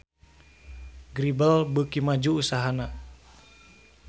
Grebel beuki maju usahana